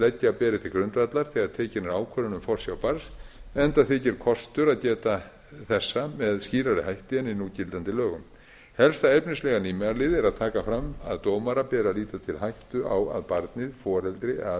sem leggja beri til grundvallar þegar tekin er ákvörðun um forsjá barns enda þykir kostur að geta þessa með skýrari hætti en í núgildandi lögum helsta efnislega nýmælið er að taka fram að dómara beri að líta til hættu á að barnið foreldri eða aðrir á